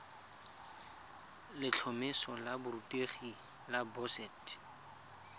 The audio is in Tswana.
letlhomeso la borutegi la boset